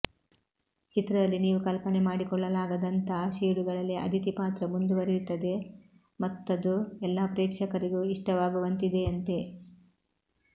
ಚಿತ್ರದಲ್ಲಿ ನೀವು ಕಲ್ಪನೆ ಮಾಡಿಕೊಳ್ಳಲಾಗದಂಥಾ ಶೇಡುಗಳಲ್ಲಿ ಅದಿತಿ ಪಾತ್ರ ಮುಂದುವರೆಯುತ್ತದೆ ಮತ್ತದು ಎಲ್ಲ ಪ್ರೇಕ್ಷಕರಿಗೂ ಇಷ್ಟವಾಗುವಂತಿದೆಯಂತೆ